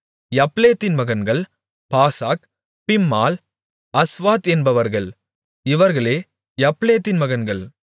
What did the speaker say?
யப்லேத்தின் மகன்கள் Pasach Bimhal Ashvath என்பவர்கள் இவர்களே யப்லேத்தின் மகன்கள்